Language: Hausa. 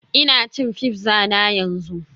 Ina cin pizza na yanzu